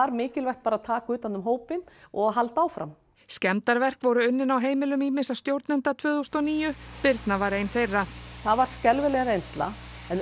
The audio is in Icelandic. mikilvægt bara að taka utan um hópinn og halda áfram skemmdarverk voru unnin á heimilum ýmissa stjórnenda tvö þúsund og níu Birna var ein þeirra það var skelfileg reynsla en